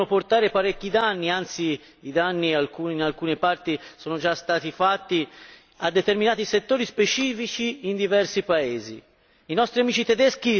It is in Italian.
Si rischiano situazioni che possono portare parecchi danni anzi, i danni in alcune parti sono già stati fatti a determinati settori specifici in diversi paesi.